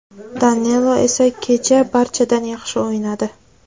Danilo esa kecha barchadan yaxshi o‘ynadi.